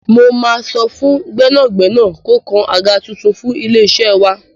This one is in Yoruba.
Mo máa sọ fún gbẹ́nàgbẹ́nà kó kan àga tuntun fún ilé-iṣẹ́ wa.